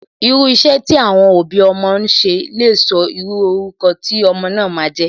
Irú iṣẹ́ tí àwọn òbí ọmọ bá n ṣe lè sọ irú orúkọ tí ọmọ náà ma a jẹ́.